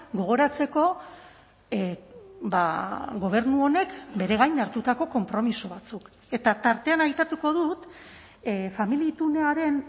gogoratzeko gobernu honek bere gain hartutako konpromiso batzuk eta tartean aipatuko dut familia itunaren